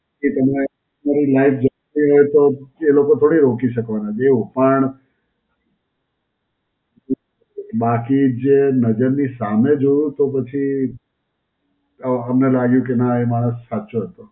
કે તમે તમારી life જતી હોય તો એ લોકો થોડી રોકી શકવાના, એવું. પણ બાકી જે નજરની સામે જોઉ તો પછી અ અમને લાગ્યું કે નાં એ માણસ સાચો હતો.